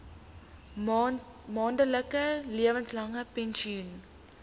maandelikse lewenslange pensioen